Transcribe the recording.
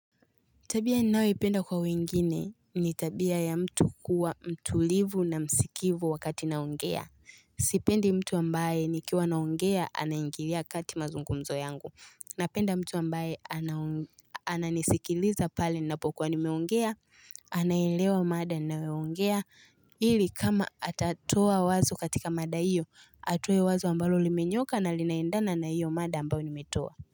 Tabia ninayoi penda kwa wengine ni tabia ya mtu kuwa mtulivu na msikivu wakati naongea Sipendi mtu ambaye nikiwa naongea anaingilia kati mazungumzo yangu. Napenda mtu ambaye anaon ananisikiliza pale ninapokuwa nimeongea anaelewa mada ninayo ongea ili kama atatoa wazo katika mada hiyo atoe wazo ambalo limenyooka na linaendana na hiyo mada ambao nimetoa.